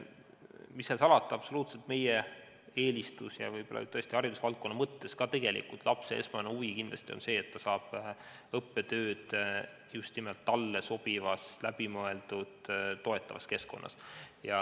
Mis seal salata, meie absoluutne eelistus ja võib-olla tõesti haridusvaldkonna mõttes ka lapse esmane huvi on kindlasti see, et ta saaks osaleda õppetöös just nimelt talle sobivas läbimõeldud toetavas keskkonnas.